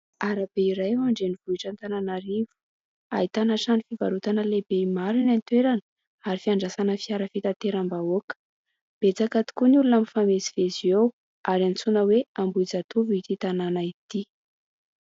Arabe iray ao an-drenivohitra Antananarivo, ahitana trano fivarotana lehibe maro eny an-toerana ary fiandrasana fiara fitateram-bahoaka, betsaka tokoa ny olona mifamezivezy eo ary antsoina hoe Amboijatovo ity tanàna ity.